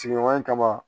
Sigiɲɔgɔnya kama